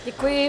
Děkuji.